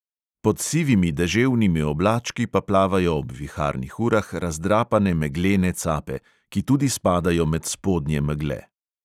Pod sivimi deževnimi oblački pa plavajo ob viharnih urah razdrapane meglene cape, ki tudi spadajo med spodnje megle.